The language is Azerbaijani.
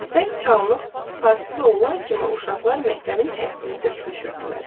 Zəng çalınıb, fasilə olan kimi uşaqlar məktəbin həyətinə tökülüşürdülər.